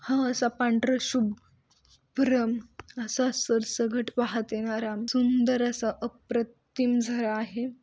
अह असा पांढर शुभ भ्रम आसा सरसगट वाहत येणारा सुंदर असा अप्रतिम झरा आहे.